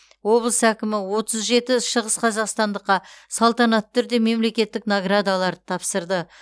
облыс әкімі отыз жеті шығысқазақстандыққа салтанатты түрде мемлекеттік наградаларды тапсырды